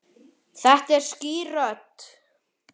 Þetta er skýr rödd.